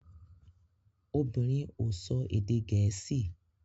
Obìnrin ò sọ èdè Gẹ̀ẹ́sì